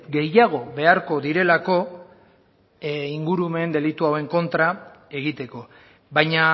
gehiago beharko direlako ingurumen delitu hauen kontra egiteko baina